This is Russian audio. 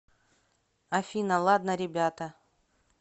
афина ладно ребята